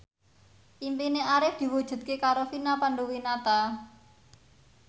impine Arif diwujudke karo Vina Panduwinata